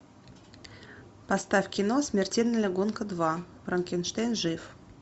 поставь кино смертельная гонка два франкенштейн жив